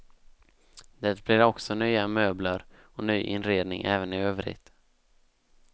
Det blir också nya möbler och ny inredning även i övrigt.